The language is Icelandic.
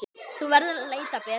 Þú verður að leita betur.